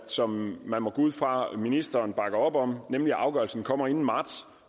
som man må gå ud fra ministeren bakker op om nemlig at afgørelsen kommer inden marts